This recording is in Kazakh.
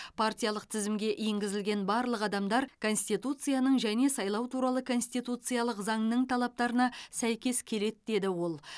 партиялық тізімге енгізілген барлық адамдар конституцияның және сайлау туралы конституциялық заңның талаптарына сәйкес келеді деді ол